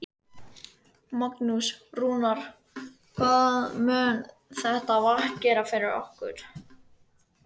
Magnús: Rúnar, hvað mun þetta vatn gera fyrir ykkur?